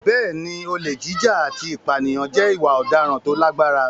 Bẹ́ẹ̀ni, olè jíjà àti ìpànìyàn jẹ́ ìwà ọ̀daràn tó lágbára.